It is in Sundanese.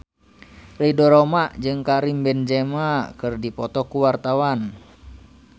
Ridho Roma jeung Karim Benzema keur dipoto ku wartawan